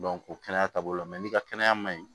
o kɛnɛya taabolo la n'i ka kɛnɛya ma ɲi